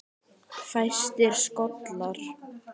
Fæstir skollar